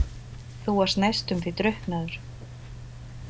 Þú varst næstum því drukknaður.